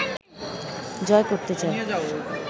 জয় করতে চায়